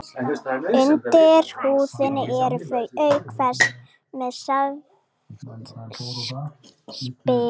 Undir húðinni eru þau auk þess með þykkt spiklag.